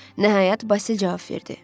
Nəhayət Basil cavab verdi.